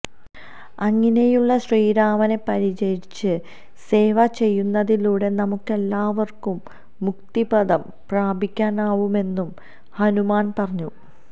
അങ്ങിനെയുള്ള ശ്രീരാമനെ പരിചരിച്ച് സേവ ചെയ്യുന്നതിലൂടെ നമുക്കെല്ലാവര്ക്കും മുക്തിപദം പ്രാപിക്കാനാവുമെന്നും ഹനുമാന് പറഞ്ഞു